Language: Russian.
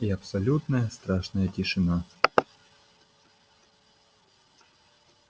и абсолютная страшная тишина